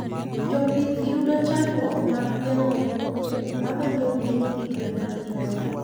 Jopith yudo chandruok mar gengo kute mamonjo ute nyithi gwen mathiso